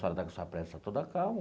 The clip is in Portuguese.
A senhora está com essa pressa toda calma.